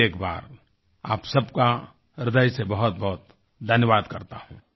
फिर एक बार आप सबका हृदय से बहुतबहुत धन्यवाद करता हूँ